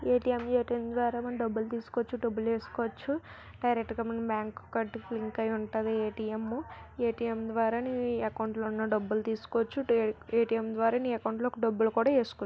ATM A T M ద్వారా మనం డబ్బులు తీసుకోవచ్చు. డబ్బులు వేసుకోవచ్చు. డైరెక్ట్ గా మనం బ్యాంకు కట్టుకు లింక్ అయ్యుంటది ఏ_టీ_ఎం. ఏ_టీ_ఎం ద్వారా నీ అకౌంట్లో ఉన్న డబ్బులు తీసుకోవచ్చు. డే ఏ_టీ_ఎం ద్వారా నీ అకౌంట్ లో డబ్బులు కూడా వేసుకోవచ్చు.